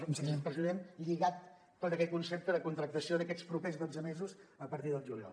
perdó president lligat tot aquest concepte de contractació d’aquests propers dotze mesos a partir del juliol